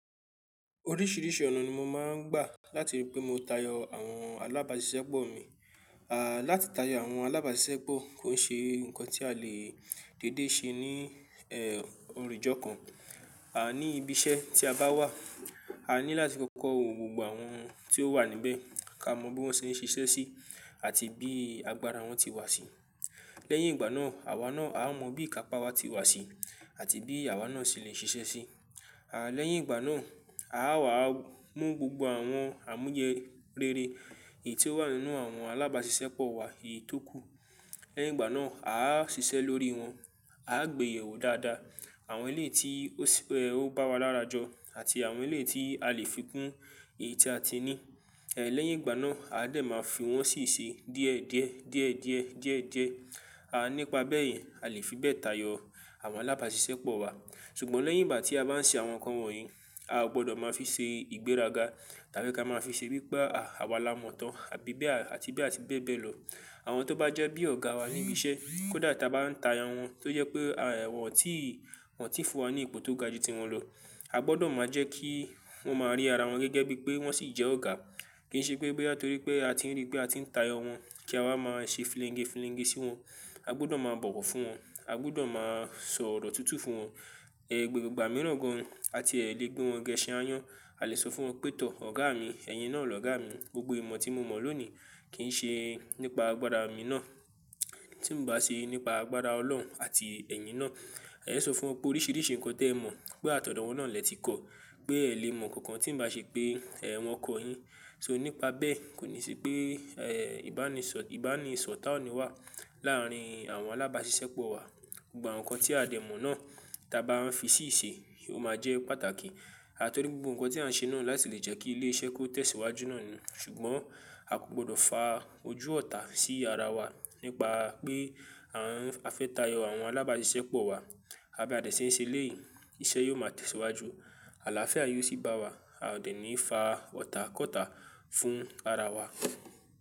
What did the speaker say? Oríṣìíríṣìí ọ̀nà ni mo máa ń gbà láti rí pé mó tayọ àwọn alábàáṣiṣẹ́pọ̀ mi. Láti tayọ àwọn alábàáṣiṣẹ́pọ̀ kó ṣe ǹkan tí a lè dédé ṣe ní ẹ ọ̀rì jọ̀'kan. Ní ibi iṣẹ́ tí a bá wà, a ní láti kọ́kọ́ wo gbogbo àwọn tí ó wà níbẹ̀, ká mọ bí wọ́n ṣe ń ṣiṣẹ́ sí àti bí agbára wọn ti wà sí. Lẹ́yìn ìgbà náà, àwa náà a mọ̀ bí ìkápá wa ti wà sí àti bí àwa náà ṣe lè ṣiṣẹ́ sí. Lẹ́yìn ìgbà náà, a á wà mú gbogbo àwọn àmujẹ réré èyí tó wà nínú àwọn alábàáṣiṣẹ́pọ̀ wa, èyí tó kù. Lẹ́yìn ìgbà náà, a á ṣiṣẹ́ lórí wọn, a á gbèyèwò dáadáa àwọn ilé tí ó sì ẹ ó bá wa lárajọ àti àwọn ilé tí a lè fi kún èyí tí a ti ní. Ẹ̀ lẹ́yìn ìgbà náà, a dẹ̀ máa fi wọ́n sì ṣe díẹ̀ díẹ̀, díẹ̀ díẹ̀, díẹ̀ díẹ̀. À nípa bẹ́ẹ̀ yẹn a lè fi bẹ́ẹ̀ tayọ àwọn alábàáṣiṣẹ́pọ̀ wa. Ṣùgbọ́n lẹ́yìn ìgbà tí a bá ń ṣe àwọn nǹkan wọ̀nyí, a ò gbọ́dọ̀ máa fi ṣe ìgbéraga tàbí ká máa fi ṣe wípé a, àwa lá mọ̀ tán àbí bé à tí bí àti bẹ́ẹ̀ bẹ́ẹ̀ lọ. Àwọn tó bá jẹ́ bí ọ̀gá wa ní ibi iṣẹ́ kódà táa bá ń tayo wọn tó jẹ́ pé à wọ́n ò tí wọ́n ti fún wa ní ipò tó ga jù tí wọn lọ. A gbọ́dọ̀ máa jẹ́ kí wọ́n máa rí ara wọn gẹ́gẹ́ bí pé wọ́n sì jẹ́ ọ̀gá. Kì í ṣe pé boya pé a ti rí pé a ti ń tayo wọn kí a wá máa ṣe filíńgéfilíńgé sí wọn. A gbọ́dọ̀ máa bọ̀wọ̀ fún wọn, a gbọ́dọ̀ máa sọ ọ̀rọ̀ tuntun fún wọn. Ẹ̀ gbogbo ìgbà mìíràn gan an àti ẹ lè gbé wọn gẹ́ṣẹ̀ aáyán, a lè sọ fún wọn pé tọ́ ọ̀gá mi, ẹ̀yin náà ni ọ̀gá mi. Gbogbo ìmọ̀ tí mo mọ̀ lónìí kì í ṣe nípa agbára mi ná, tí ǹ bá sì nípa agbára Ọlọ́run àti ẹ̀yin náà. Ẹ̀ sọ fún wọn pé oríṣìíríṣìí ǹkan tẹ mọ̀ pé àtọ̀dọ̀wọ́ náà lẹ́ti kọ́, pé ẹ lè mọ̀ nǹkankan tí ǹ bá ṣe pé ẹ wọn kọ̀ yín. So nípa bẹ́ẹ̀ kò ní ṣe pé ẹ ìbánisọ̀, ìbánisọ̀tà ni wà láàárín àwọn alábàáṣiṣẹ́pọ̀ wa. Gbogbo àwọn kan tí a dẹ̀ mọ̀ náà táa bá wọ́n fi sì ṣe, ó máa jẹ́ pàtàkì. Àtọ̀rì gbogbo ǹkan tí à ń ṣe náà láti lè jẹ́ kí ilé iṣẹ́ kó tẹ̀síwájú náà ni. Ṣùgbọ́n a kò gbọ́dọ̀ fa ojú ọ̀tá sí ara wa nípa pé à ń, a fẹ́ tayọ àwọn alábàáṣiṣẹ́pọ̀ wa. Bí a dẹ̀ ṣe ń ṣe léyìí iṣẹ́ yóò máa tẹ̀síwájú, àlàáfẹ́à yóò sì bá wa. A ò dẹ̀ ní fa ọ̀tá kọ́tà fún ara wa.